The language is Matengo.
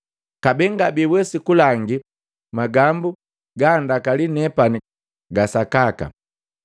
Kabee ngabiwesi kulangi magambu gandakali nepani ga sakaka.